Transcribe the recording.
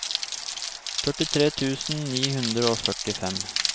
førtitre tusen ni hundre og førtifem